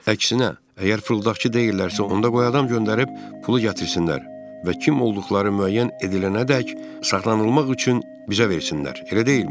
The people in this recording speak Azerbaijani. Əksinə, əgər fırıldaqçı deyillərsə, onda qoy adam göndərib pulu gətirsinlər və kim olduqları müəyyən edilənədək saxlanılmaq üçün bizə versinlər, elə deyilmi?